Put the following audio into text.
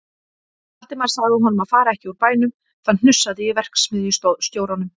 Valdimar sagði honum að fara ekki úr bænum, það hnussaði í verksmiðjustjóranum.